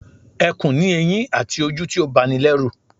Ẹkùn ni eyin àti ojú tí ó ba ni lérù